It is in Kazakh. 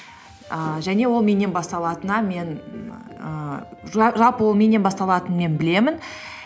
ііі және ол меннен басталатынына мен ііі ж жалпы ол меннен басталатынын мен білемін